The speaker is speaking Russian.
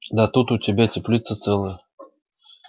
да тут у тебя теплица целая